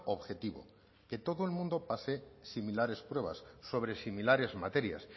objetivo que todo el mundo pase similares pruebas sobre similares materias